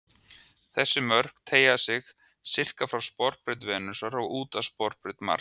Þessi mörk teygja sig sirka frá sporbraut Venusar og út að sporbraut Mars.